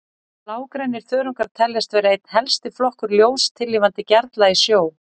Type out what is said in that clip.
Blágrænir þörungar teljast vera einn helsti flokkur ljóstillífandi gerla í sjó.